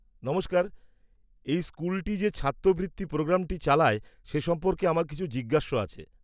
নমস্কার, এই স্কুলটি যে ছাত্রবৃত্তি প্রোগ্রামটি চালায় সে সম্পর্কে আমার কিছু জিজ্ঞাস্য আছে।